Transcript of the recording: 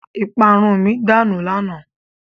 Ìparun mi danù lánàá.